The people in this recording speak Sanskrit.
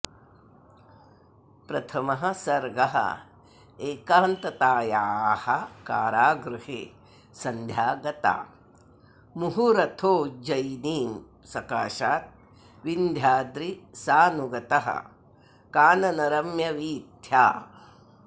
प्रथमः सर्गः एकान्ततायाः कारागृहे सन्ध्या गता मुहुरथोज्जयिनीसकाशाद् विन्ध्याद्रिसानुगतकाननरम्यवीथ्या